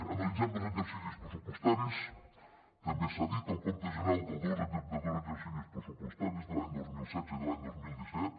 analitzem dos exercicis pressupostaris també s’ha dit el compte general dels dos darrers exercicis pressupostaris de l’any dos mil setze i de l’any dos mil disset